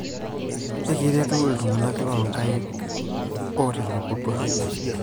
ekiretu iltung'anak too ilkeek lootelekutwa